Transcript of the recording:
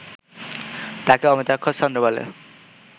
তাকে অমিত্রাক্ষর ছন্দ বলে